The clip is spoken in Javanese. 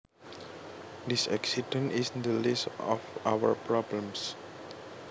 This accident is the least of our problems